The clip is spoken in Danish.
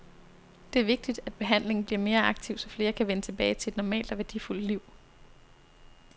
Det er vigtigt, at behandlingen bliver mere aktiv, så flere kan vende tilbage til et normalt og værdifuldt liv.